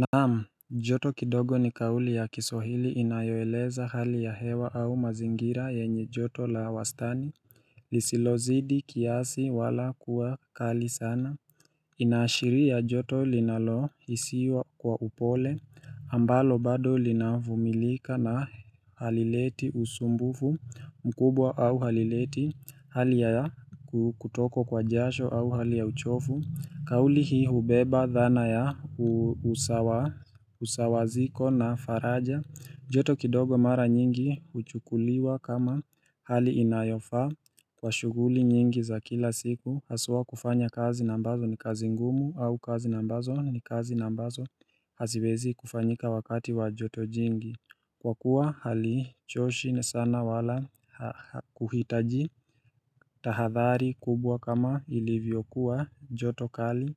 Naam, joto kidogo ni kauli ya kiswahili inayoeleza hali ya hewa au mazingira yenye joto la wastani Lisilozidi kiasi wala kuwa kali sana Inaashiri joto linalohisiwa kwa upole ambalo bado linavumilika na halileti usumbufu mkubwa au halileti hali ya kutokwa kwa jasho au hali ya uchofu kauli hii hubeba dhana ya usawaziko na faraja joto kidogo mara nyingi huchukuliwa kama hali inayofaa Kwa shughuli nyingi za kila siku Haswa kufanya kazi na ambazo ni kazi ngumu au kazi ambazo ni kazi ambazo haziwezi kufanyika wakati wa joto jingi Kwa kuwa hali choshi sana wala kuhitaji tahadhari kubwa kama ilivyokuwa joto kali